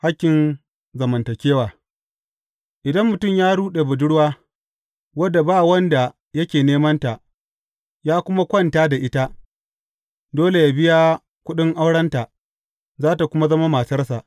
Hakkin zamantakewa Idan mutum ya ruɗe budurwa, wadda ba wanda yake nemanta, ya kuma kwanta da ita, dole yă biya kuɗin aurenta, za tă kuma zama matarsa.